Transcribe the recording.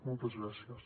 moltes gràcies